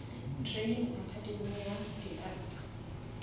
training academay ya di arts